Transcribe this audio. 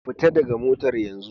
Fita daga motar yenzu